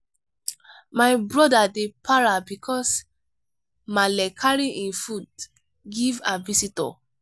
my brother dey para bicos maale carry im food give her visitor.